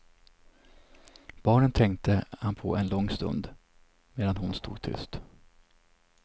Barnen tänkte han på en lång stund, medan hon stod tyst.